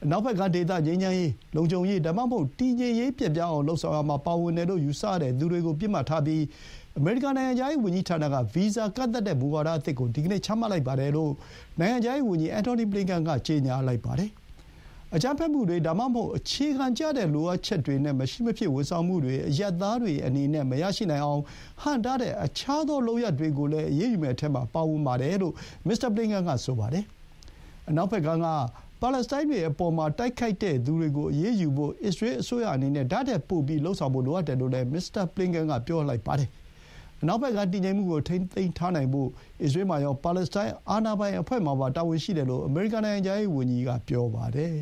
‘အနောက်ဘက်ကမ်းဒေသ ငြိမ်းချမ်းရေး၊ လုံခြုံရေး ဒါမှမဟုတ် တည်ငြိမ်ရေးပျက်ပြားအောင် လုပ်ဆောင်ရာမှာ ပါဝင်တယ်လို့ ယူဆရတဲ့သူတွေကို ပစ်မှတ်ထားပြီး အမေရိကန် နိုင်ငံခြားရေးဝန်ကြီးဌာနက ဗီဇာကန့်သတ်တဲ့မူဝါဒအသစ်ကို ဒီကနေ့ ချမှတ်လိုက်ပါတယ်’လို့ နိုင်ငံခြားရေး ဝန်ကြီး အန်ထိုနီ ဘလင်ကန် က ကြေညာပါတယ်။ အကြမ်းဖက်မှုတွေ ဒါမှမဟုတ် အခြေခံကျတဲ့လိုအပ်ချက်တွေနဲ့ မရှိမဖြစ် ဝန်ဆောင်မှုတွေ အရပ်သားတွေအနေနဲ့ မရနိုင်အောင်ဟန့်တားတဲ့ အခြားသောလုပ်ရပ်တွေလည်း အရေးယူမယ့်အထဲမှာပါဝင်တယ်လို့ မစ္စတာ ဘလင်ကန် က ဆိုပါတယ်။ အနောက်ဘက်ကမ်းက ပါလက်စတိုင်းတွေအပေါ် တိုက်ခိုက်တဲ့သူတွေကိုအရေးယူဖို့ အစ္စရေးအစိုးရအနေနဲ့ ဒါ့ထက်ပိုပြီး လုပ်ဆောင်ဖို့လိုအပ်တယ်လို့လည်း မစ္စတာဘလင်ကန်က ပြောသွားပါတယ်။ အနောက်ဘက်ကမ်း တည်ငြိမ်မှုကို ထိန်းထားနိုင်ဖို့ အစ္စရေးမှာရော၊ ပါလက်စတိုင်းအာဏာပိုင်အဖွဲ့မှာပါ တာဝန်ရှိတယ်လို့ အမေရိကန်နိုင်ငံခြားရေးဝန်ကြီးက ပြောပါတယ်။